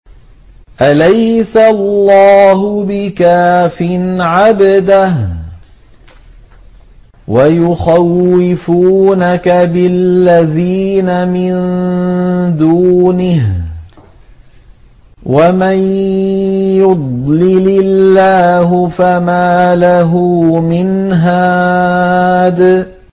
أَلَيْسَ اللَّهُ بِكَافٍ عَبْدَهُ ۖ وَيُخَوِّفُونَكَ بِالَّذِينَ مِن دُونِهِ ۚ وَمَن يُضْلِلِ اللَّهُ فَمَا لَهُ مِنْ هَادٍ